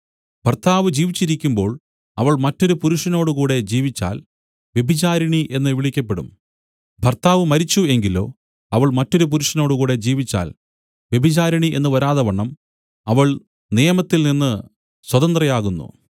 ഭർത്താവ് ജീവിച്ചിരിക്കുമ്പോൾ അവൾ മറ്റൊരു പുരുഷനോടുകൂടെ ജീവിച്ചാൽ വ്യഭിചാരിണി എന്നു വിളിക്കപ്പെടും ഭർത്താവ് മരിച്ചു എങ്കിലോ അവൾ മറ്റൊരു പുരുഷനോടുകൂടെ ജീവിച്ചാൽ വ്യഭിചാരിണി എന്നു വരാതവണ്ണം അവൾ നിയമത്തിൽനിന്ന് സ്വതന്ത്രയാകുന്നു